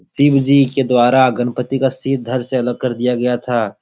शिवजी के द्वारा गणपति का सिर धड़ से अलग कर दिया गया था।